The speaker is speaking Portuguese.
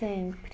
Sempre.